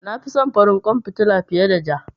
Na fi son farin kwan fitila fiye da ja.